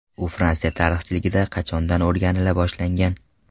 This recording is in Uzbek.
U Fransiya tarixchiligida qachondan o‘rganila boshlangan?